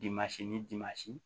Dimasi ni dimasi